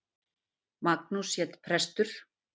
Magnús hét prestur.